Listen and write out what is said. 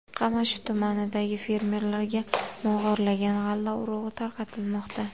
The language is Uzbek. Qamashi tumanidagi fermerlarga mog‘orlagan g‘alla urug‘i tarqatilmoqda.